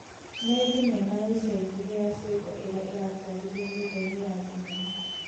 Nĩ thinema ya ica ikuhĩ ya ciĩko ĩrĩa ĩratwarithia nyũmba-inĩ ya thinema .